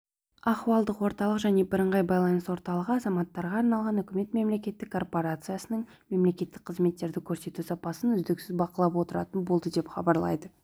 ахуалдық орталық және бірыңғай байланыс орталығы азаматтарға арналған үкімет мемлекеттік корпорациясының мемлекеттік қызметтерді көрсету сапасын үздіксіз бақылап отыратын болды деп хабарлайды